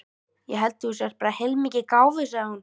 Ég held þú sért bara heilmikið gáfuð, sagði hún.